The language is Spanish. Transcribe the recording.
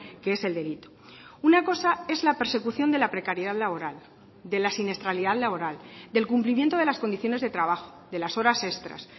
que es el delito una cosa es la persecución de la precariedad laboral de la siniestralidad laboral del cumplimiento de las condiciones de trabajo de las horas extras